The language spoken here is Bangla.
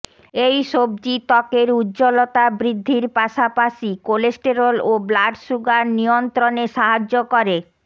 এই সবজি ত্বকের উজ্জ্বলতা বৃ্দ্ধির পাশাপাশি কোলেস্টেরল ও ব্লাড সুগার নিয়ন্ত্রণে সাহায্য করে